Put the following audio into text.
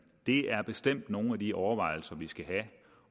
det er bestemt nogle af de overvejelser vi skal have